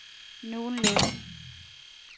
nogenlunde